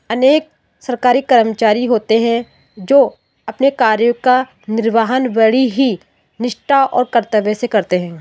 अनेक सरकारी कर्मचारी होते हैं जो अपने कार्य का निर्वाहन बड़ी ही निष्ठा और कर्तव्य से करते हैं।